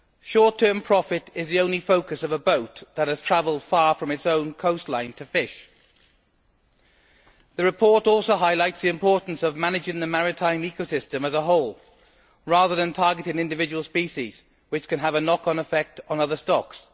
Short term profit is the only focus for a boat that has travelled far from its own coastline to fish. The report also highlights the importance of managing the marine ecosystem as a whole, rather than targeting individual species, which can have a knock on effect on other stocks.